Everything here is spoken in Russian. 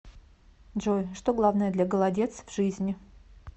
джой что главное для голодец в жизни